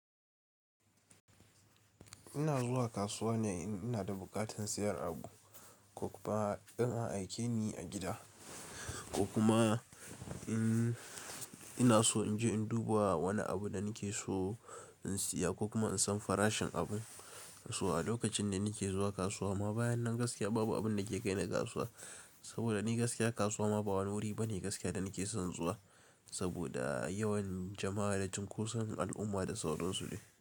Ina zuwa kasuwa ne in ina da buƙatar sayan abu ko kuma in an aike ni a gida, ko kuma in ina so in je in duba wani abu da nake so in siya ko kuma in san farashin abu a kasuwa a lokacin da nake zuwa kasuwa. Ama bayan nan gaskiya babu abin da ke kai ni kasuwa, saboda ni gaskiya kasuwa ma ba wani wuri bane gaskiya da nake son zuwa. Saboda yawan jama'a da cunkoson al'umma da sauran su ne.